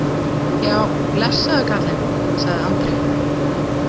Já, blessaður karlinn, sagði Andri.